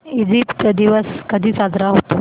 Egypt दिवस कधी साजरा होतो